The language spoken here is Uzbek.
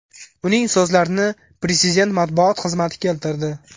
Uning so‘zlarini Prezident matbuot xizmati keltirdi .